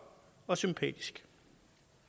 og sympatisk